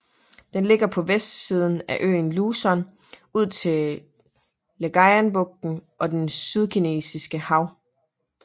Den ligger på vestsiden af øen Luzon ud til Ligayenbugten og det Sydkinesiske Hav